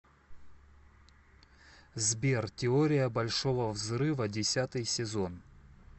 сбер теория большого взрыва десятый сезон